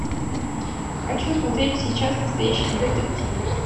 хочу смотреть сейчас настоящий детектив